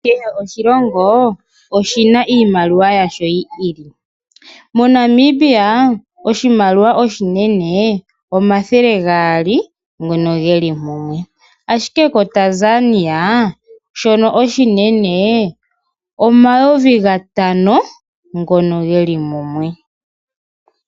Kehe oshilongo oshina iimaliwa yasho yiili. MoNamibia oshimaliwa oshinene omathele gaali geli mumwe omanga koTanzania omayovi gatano ngono geli mumwe.